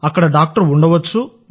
అక్కడ డాక్టర్ ఉండవచ్చు